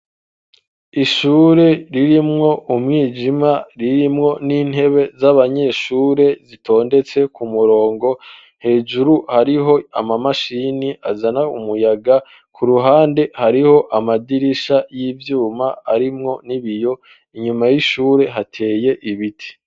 Ishure ririmwo umwijima ririmwo n'intebe z'abanyeshure zitondetse ku murongo hejuru hariho ama mashini azana umuyaga ku ruhande hariho amadirisha y'ivyuma arimwo n'ibiyo inyuma y'ishure hateye ibiti